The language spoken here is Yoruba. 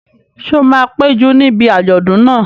Ṣé o máa péjú níbi àjọ̀dún náà?